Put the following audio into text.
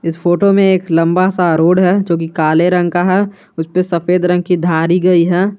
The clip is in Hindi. इस फोटो में एक लंबा सा रोड है जो कि काले रंग का है उस पे सफेद रंग की धारी गई है।